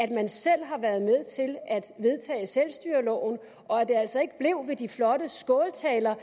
vedtage selvstyreloven og at det altså ikke blev ved de flotte skåltaler